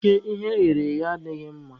Oke ihe eghere eghe adịghị mma